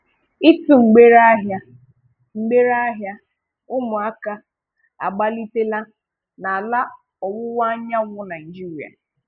Ị́tụ̀ mgbèrè ahịa mgbèrè ahịa um ụmụ̀aka agbalítèlà n’ala ọ̀wụ̀wa Anyànwụ Naịjíríà.